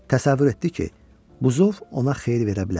Təsəvvür etdi ki, buzov ona xeyir verə bilər.